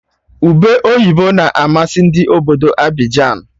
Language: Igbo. Ube oyibo na-amasị Ndị obodo Abịjan